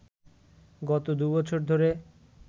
গত দুবছর ধরে